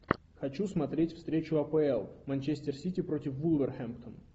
хочу смотреть встречу апл манчестер сити против вулверхэмптон